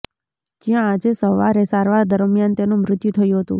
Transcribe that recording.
જ્યાં આજે સવારે સારવાર દરમિયાન તેનું મૃત્યુ થયું હતું